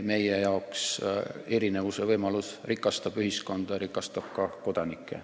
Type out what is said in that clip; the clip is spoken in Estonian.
Meie arvates erinevuse võimalus rikastab ühiskonda ja rikastab ka kodanikke.